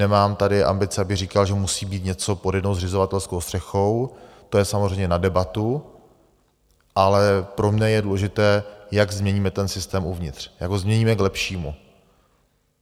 Nemám tady ambice, abych říkal, že musí být něco pod jednou zřizovatelskou střechou, to je samozřejmě na debatu, ale pro mne je důležité, jak změníme ten systém uvnitř, jak ho změníme k lepšímu.